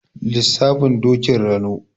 Lissafin Dokin Rano.